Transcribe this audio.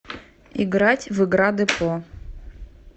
играть в игра депо